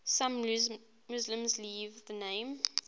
some muslims leave the name